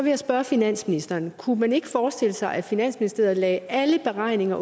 jeg spørge finansministeren kunne man ikke forestille sig at finansministeriet lagde alle beregninger